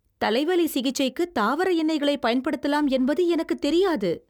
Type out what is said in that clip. தலைவலி சிகிச்சைக்கு தாவர எண்ணெய்களை பயன்படுத்தலாம் என்பது எனக்குத் தெரியாது.